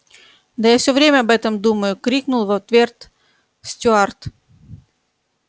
да я всё время об этом думаю крикнул в ответ стюарт